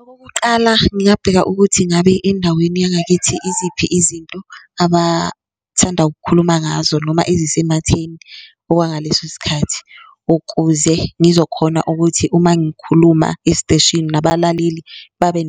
Okokuqala, ngingabheka ukuthi ngabe endaweni yangakithi iziphi izinto abathanda ukukhuluma ngazo noma ezisematheni okwangaleso sikhathi ukuze ngizokhona ukuthi uma ngikhuluma esiteshini nabalaleli babe